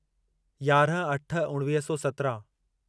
याराहं अठ उणिवीह सौ सत्राहं